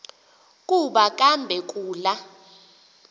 kuba kambe kula